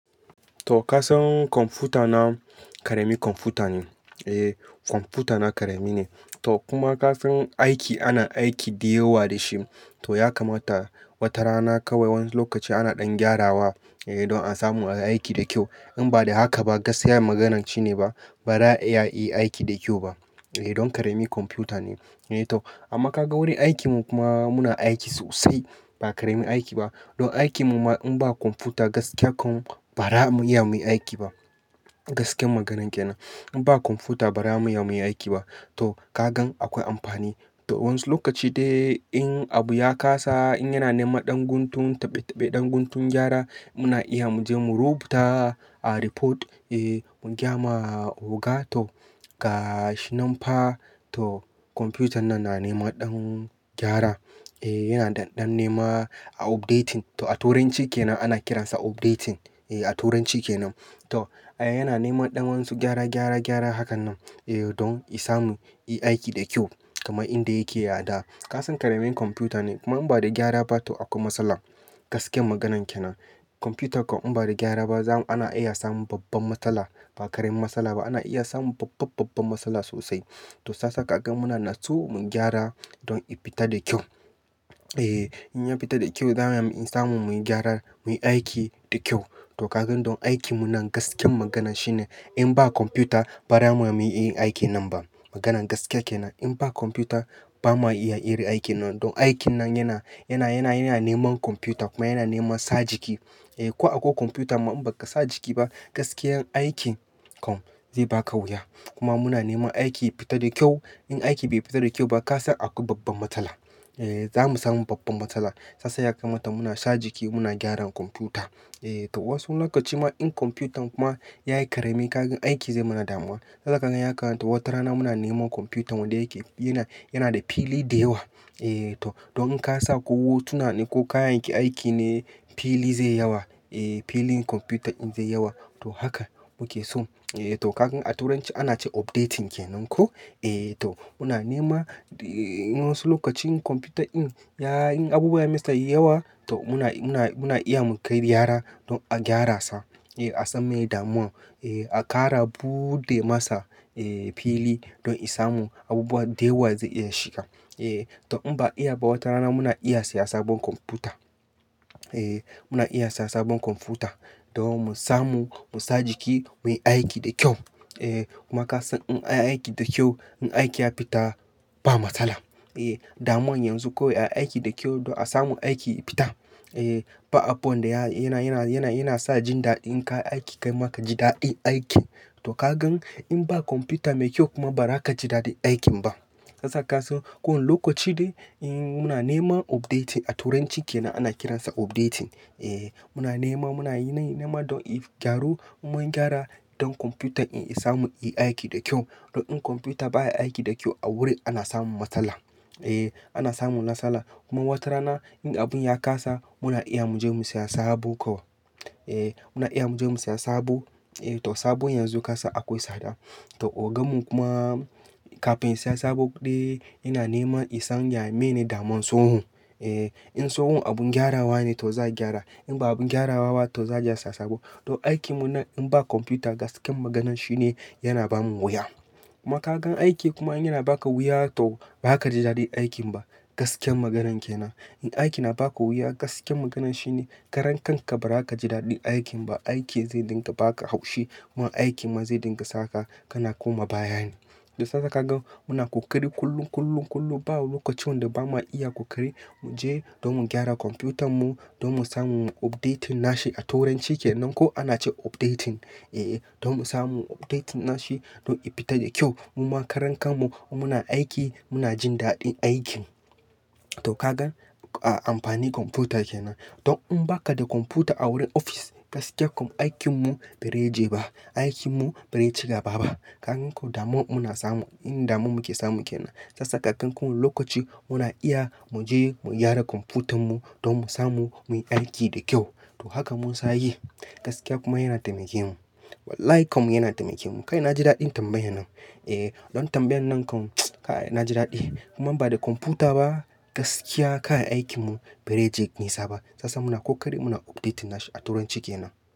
To, kasan kwamfuta na, ƙarami kwamfuta ne. Eh kwamfuta na ƙarami ne. To kuma kasan aiki, ana aiki da yawa da shi. Toh ya kamata watarana kawai wani lokaci ana dan gyarawa eh don asamu ayi aiki da kyau in ba don haka ba gaskiya maganar shine baza a yin aiki da kyau ba eh don ƙarami kwamfuta ne. Eh to amma ka ga wurin aikin mu kuma muna aiki sosai ba ƙaramin aiki ba. Don aikin mu ma in ba kwamfuta gaskiya kam ba za mu iya muyi aiki ba. Gaskiyan maganan kenan. In ba kwamfuta ba, ba za mu iya muyi aiki ba. To kagan akwai amfani to wani lokaci dai in abu ya kasa, in yana nema ɗan guntun, taɓe taɓe ɗan guntun gyara muna iya mu je mu rubuta a report, eh mu gyama oga. To ga shi nan fa to kwamfutan nan na nema ɗan gyara. Eh yana ɗan nema a updating. To a turanci ke nan ana kiransa updating. Eh a turanci kenan to yana nema ɗan wasu gyara, gyara, gyara hakan nan eh don i samu yi aiki da kyau kamar inda yake yadda. Kasan ƙaramin kwamfuta ne kuma in ba da gyara ba to akwai matsala. Gaskiyar maganan ke nan. Kwamfuta kam in ba da gyara ba zamu-- ana iya samun babban matsala. Ba ƙaramin matsala ba, ana iya samun babban, babban matsala sosai. To sasa ka gan muna nasu mu gyara don i fita da kyau. Eh in ya fita da kyau, za mu iya samu muyi gyara, muyi aiki da kyau. To kagan don aikin mu nan gaskiya maganan shine in ba kwamfuta ba, ba za mu iya muyi aikin nan ba. Maganan gaskiya ke nan. In ba kwamfuta ba, ba ma iya yin aikin nan. Don aikin nan yana, yana, yana, yana neman kwamfuta kuma yana nema sa jiki. Eh ko akwai kwamfuta ma in ba ka sa jiki ba, gaskiya aikin kam zai baka wuya. Kuma muna neman aiki ya fita da kyau. In aiki bai fita da kyau ba, ka san akwai babban matsala. Eh za mu samu babban matsala. Shi yasa yakamata muna sa jiki muna gyara kwamfuta. Eh to wasu lokaci ma in kwamfutan kuma yayi ƙarami, kagan aiki zai mana damuwa. Saba gayan haka wata rana muna nema kwamfutan wanda yake, yana, yana da fili da yawa. Eh to don in ka sa ko hotuna ne ko kayan ki aiki ne, fili zai yawa. Ehh filin kwamfuta in zai yawa. To haka muke so. Eh to kagan a turanci ana ce updating ke nan ko. Eh to muna nema, eh wasu lokacin kwamfuta in yayi abubuwa yai masa yawa, to muna, muna, muna iya mu kai gyara don a gyara sa. Eh a san miye damuwan. Eh a ƙara buɗe masa eh fili don i samu abubuwa da yawa zai iya shiga. Eh to in ba iya ba, wata rana muna iya siya sabon kwamfuta. Eh muna iya siya sabon kwamfuta. Don mu samu, mu sa jiki muyi aiki da kyau. Eh kuma ka san in a yi aiki da kyau, in aiki ya fita ba matsala. Eh damuwa yanzu kawai aiki da kyau don a samu aiki ya fita. Eh ba abu wan da yana, yana, yana, yana sa jin daɗi in ka yi aiki kai ma ka ji daɗin aikin. To kagan in ba kwamfuta mai kyau kuma, ba za ka ji daɗin aikin ba. Sasa ka san ko wani lokaci dai in muna nema updating, a turancin ke nan ana kiransa updating. Eh muna nema, muna nema don i gyaru mun gyara don kwamfutan in i samu yi aiki da kyau. Don in kwamfuta baya aiki da kyau a wuri, ana samun matsala. Eh ana samun matsala. Kuma wata rana in abun ya kasa, muna iya mu je mu siya sabo kawai. Eh muna iya mu je mu siya sabo. Eh to sabon yanzu kasa akwai tsada. To ogamun kuma kafin ya siya sabo dai, yana nema i san ya mene damun tsohon. Eh in tsohon abun gyarawa ne to za a gyara. In ba abun gyarawa ba to za aje a siya sabo. Don aikin mu nan in ba kwamfuta gaskiya maganan shine yana bamu wuya. Kuma ka gan aiki kuma yana baka wuya to ba ka ji daɗin aikin ba. Gaskiya maganan ke nan. In aiki na baka wuya gaskiya maganan shine karen kanka ba za ka ji daɗin aikin ba. Aiki zai dinga baka haushi. Kuma aikin ma zai dinga saka kana koma baya ne. To sasa ka gan muna ƙoƙari kullum, kullum, kullum. Babu lokacin wanda ba ma iya ƙoƙari mu je don mu gyara kwamfutan mu don mu samu updating nashi. A turanci ke nan ko ana ce updating. Eh, eh don mu samu updating nashi don i fita da kyau. Mu ma karan kanmu muna aiki muna jin dadin aikin to ka gan amfani kwamfuta ke nan. Don in ba ka da kwamfuta a wurin ofis, gaskiya kam aikin mu ba zai jeba. Aikin mu ba zai cigaba ba. Kakan ko damu muna samu, inda damu muke samu ke nan. Kasa kafin ko wani lokaci muna iya mu je mu gyara kwamfutan mu don mu samu muyi aiki da kyau. To haka mun sanya yi. Gaskiya kuma yana taimaken mu. Wallahi kam yana taimaken mu. Kai na ji daɗin tambayan nan. Eh don tambayan nan kam, na ji daɗi. Kuma in ba da kwamfuta ba, gaskiya kayan aikin mu ba zaije nisa ba. Sasa muna ƙoƙari muna updating nashi a turanci ke nan.